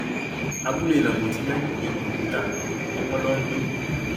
abúlé nábótì lágbègbè buduta ni wọn lọ ń gbé